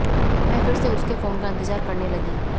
मैं फिर से उसके फोन का इंतज़ार करने लगी